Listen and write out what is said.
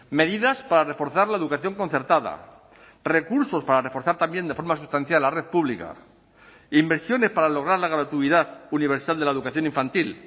medidas para reforzar la educación concertada recursos para reforzar también de forma sustancial la red pública inversiones para lograr la gratuidad universal de la educación infantil